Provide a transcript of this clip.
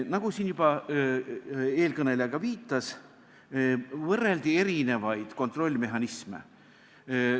Nagu eelkõneleja ka viitas, võrreldi erinevaid kontrollmehhanisme.